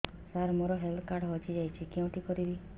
ସାର ମୋର health card ହଜି ଯାଇଛି କେଉଁଠି କରିବି